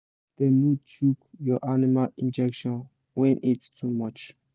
make dem no chook your animal injection when heat too much